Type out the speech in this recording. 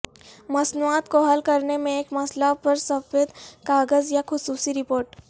مصنوعات کو حل کرنے میں ایک مسئلہ پر سفید کاغذ یا خصوصی رپورٹ